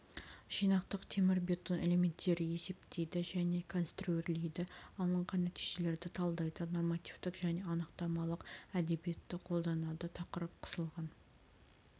жинақтық темірбетон элементтерді есептейді және конструирлейді алынған нәтижелерді талдайды нормативтік және анықтамалық әдебиетті қолданады тақырып қысылған